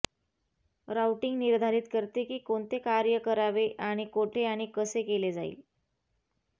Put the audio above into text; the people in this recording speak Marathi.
राऊटिंग निर्धारित करते की कोणते कार्य करावे आणि कोठे आणि कसे केले जाईल